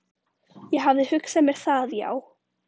Ég hafði hugsað mér það, já.